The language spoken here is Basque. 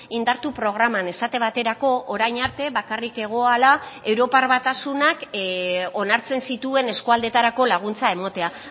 indartu programan esate baterako orain arte bakarrik egoala europar batasunak onartzen zituen eskualdetarako laguntza ematea